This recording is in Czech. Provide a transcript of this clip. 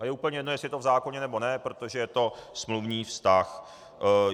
A je úplně jedno, jestli je to v zákoně, nebo ne, protože je to smluvní vztah.